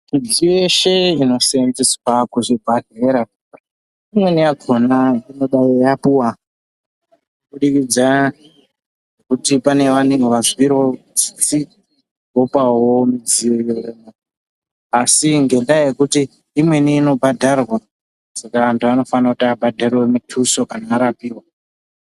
Midziyo yeshe inosenzeswa kuzvibhedhlera imweni yakhona zvinodayi yapuwa kubudikidza kuti panevamweni vazwirawo tsitsi opawo midziyo asi ngendaa yekuti imweni inobhadharwa saka vantu vanofanira kuti vabhadharewo mituso kana varapiwa.